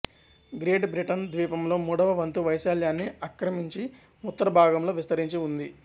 great Britain ద్వీపంలో మూడవ వంతు వైశాల్యాన్ని ఆక్రమించి ఉత్తర భాగంలో విస్తరించి ఉంది